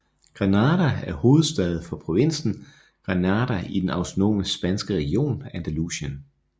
Granada er hovedstad for provinsen Granada i den autonome spanske region Andalusien